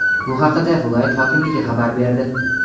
Bu haqida viloyat hokimligi xabar berdi.